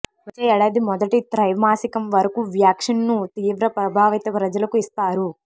వచ్చే ఏడాది మొదటి త్రైమాసికం వరకు వ్యాక్సిన్ను తీవ్ర ప్రభావిత ప్రజలకు ఇస్తారు